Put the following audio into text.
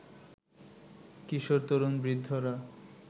কিশোর, তরুণ, বৃদ্ধরা